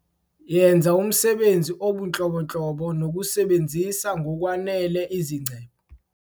Yenza umsebenzi obunhlobonhlobo nokusebenzisa ngokwanele izingcebo.